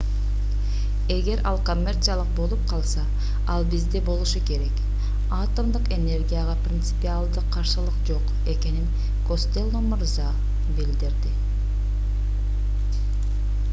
эгер ал коммерциялык болуп калса ал бизде болушу керек атомдук энергияга принципиалдык каршылык жок экенин костелло мырза билдирди